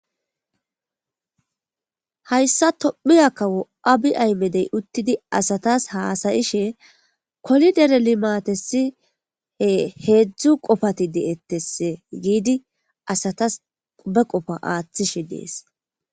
hayssa tommi akawo abi aymedey uttidi asatas haasayishe kolidere limatesi he heedzdzu qofati de7ettesse giidi asatas qube qofa aaththishe dees